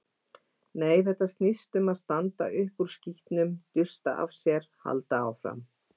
Nei, þetta snýst um að standa upp úr skítnum, dusta af sér, halda áfram.